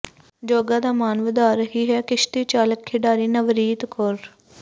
ਜੋਗਾ ਦਾ ਮਾਣ ਵਧਾ ਰਹੀ ਹੈ ਕਿਸ਼ਤੀ ਚਾਲਕ ਖਿਡਾਰੀ ਨਵਰੀਤ ਕੌਰ